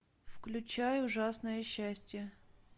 включай ужасное счастье